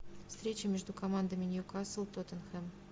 встреча между командами ньюкасл тоттенхэм